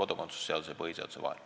Jüri Adams, palun!